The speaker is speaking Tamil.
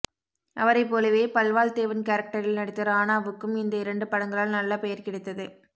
அவரை போலவே பல்வாள்தேவன் கேரக்டரில் நடித்த ராணாவுக்கும் இந்த இரண்டு படங்களால் நல்ல பெயர் கிடைத்தது